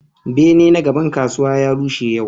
Bene na gaban kasuwa ya rushe yau.